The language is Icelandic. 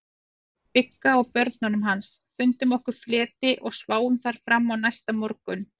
Bigga og börnunum hans, fundum okkur fleti og sváfum þar fram á næsta morgun.